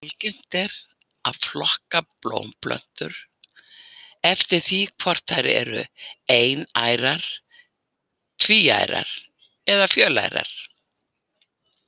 Algengt er að flokka blómplöntur eftir því hvort þær eru einærar, tvíærar eða fjölærar.